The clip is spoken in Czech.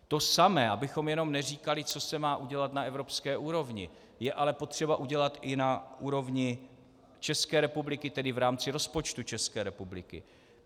To samé, abychom jenom neříkali, co se má udělat na evropské úrovni, je ale potřeba udělat i na úrovni České republiky, tedy v rámci rozpočtu České republiky.